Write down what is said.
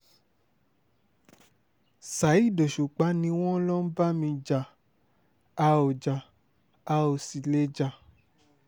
saheed òṣùpá ni wọ́n lọ ń bá mi jà a ò já a ò sì lè jà